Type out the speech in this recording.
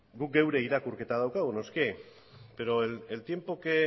guk geure irakurketa daukagu noski pero el tiempo que